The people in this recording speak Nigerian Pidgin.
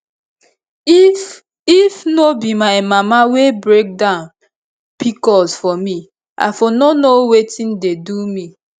if if no be my mama wey break down pcos for me i for no know wetin dey do me